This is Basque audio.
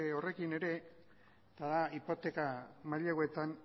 horrekin ere eta da hipoteka maileguetan